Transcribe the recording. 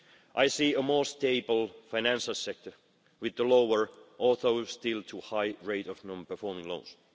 I see a more stable financial sector with a lower although still too high rate of non performing loans.